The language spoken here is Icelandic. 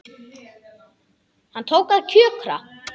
Hún tók að kjökra.